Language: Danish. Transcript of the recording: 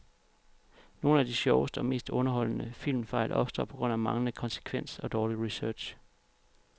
Nogle af de sjoveste og mest underholdende filmfejl opstår på grund af manglende konsekvens og dårlig research.